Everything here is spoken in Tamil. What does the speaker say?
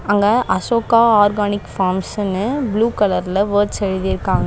அங்க அசோகா ஆர்கானிக் ஃபார்ம்ஸ்ன்னு ப்ளூ கலர்ல வேர்ட்ஸ் எழுதிருக்காங்க.